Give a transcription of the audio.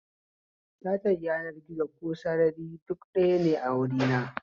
Sata yanar gizo ko sarari duk ɗayane a wurina